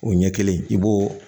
O ɲɛ kelen i b'o